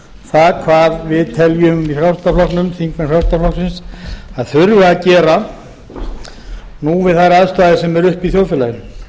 það hvað við teljum í frjálslynda flokknum þingmenn frjálslynda flokksins að þurfi að gera nú við þær aðstæður sem eru uppi í þjóðfélaginu